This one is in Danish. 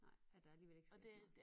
Nej at der alligevel ikke sker så meget